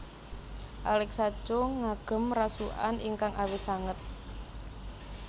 Alexa Chung ngagem rasukan ingkang awis sanget